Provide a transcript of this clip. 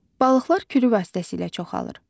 Balıqlar kürülər vasitəsilə çoxalır.